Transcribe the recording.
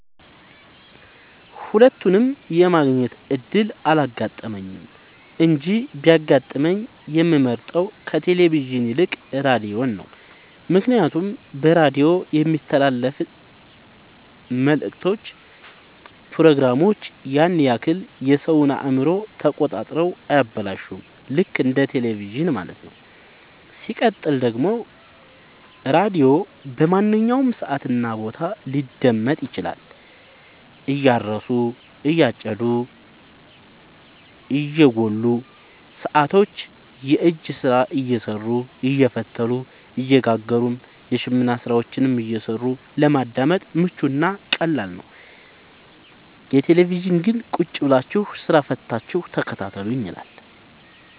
ሁለቱንም የማግኘት እድል አላጋጠመኝም እንጂ ቢያጋጥመኝ የምመርጠው ከቴሌቪዥን ይልቅ ራዲዮን ነው ምክንያቱም በራዲዮ የሚተላለፍት መልክቶች ፕሮግራሞች ያን ያክል የሰወን አእምሮ ተቆጣጥረው አያበላሹም ልክ እንደ በቴለቪዥን ማለት ነው። ሲቀጥል ደግሞ ራዲዮ በማንኛውም ሰዓት እና ቦታ ሊደመጥ ይችላል። እያረሱ የጨዱ እየጎሉ ሰቶች የእጅ ስራ እየሰሩ አየፈተሉ እየጋገሩም የሽመና ስራዎችን እየሰሩ ለማዳመጥ ምቹ እና ቀላል ነው። የቴሌቪዥን ግን ቁጭብላችሁ ስራ ፈታችሁ ተከታተሉኝ ይላል።